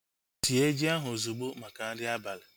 Sie ji ahu ozugbo maka nri abali!